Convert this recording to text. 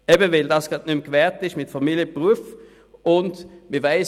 – Genau deshalb, weil die Vereinbarkeit von Familie und Beruf nicht mehr gewährleistet ist.